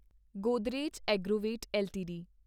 Godrej Agrovet LTD